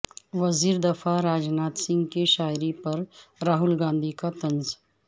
وزیر دفاع راجناتھ سنگھ کی شاعری پر راہل گاندھی کا طنز